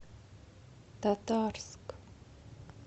татарск